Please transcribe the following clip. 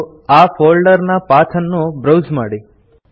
ಮತ್ತು ಈ folder path ಅನ್ನು ಬ್ರೌಸ್ ಮಾಡಿ